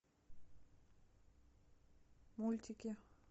мультики